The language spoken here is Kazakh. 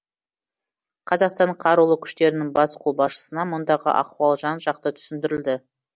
қазақстан қарулы күштерінің бас қолбасшысына мұндағы ахуал жан жақты түсіндірілді